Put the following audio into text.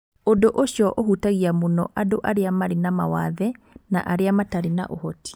Ũndũ ũcio ũhũtagia mũno andũ arĩa marĩ na mawathe na arĩa matarĩ na ũhoti.